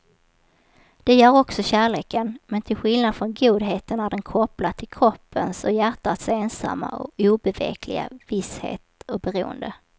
Det gör också kärleken, men till skillnad från godheten är den kopplad till kroppens och hjärtats ensamma och obevekliga visshet och beroende.